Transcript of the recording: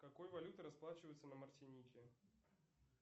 какой валютой расплачиваются на мартинике